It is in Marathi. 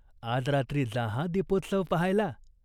आज रात्री जा हा दीपोत्सव पाहायला.